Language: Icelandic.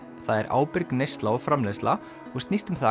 það er ábyrg neysla og framleiðsla og snýst um það